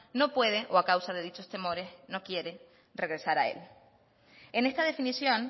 no puede o a causa de dichos temores no quiere regresar a él en esta definición